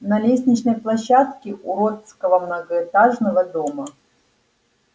на лестничной площадке уродского многоэтажного дома